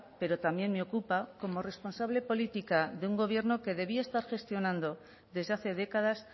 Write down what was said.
pero también me ocupa como responsable política de un gobierno que debía estar gestionando desde hace décadas